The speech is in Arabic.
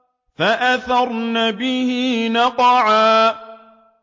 فَأَثَرْنَ بِهِ نَقْعًا